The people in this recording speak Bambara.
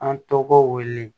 An tɔgɔ wele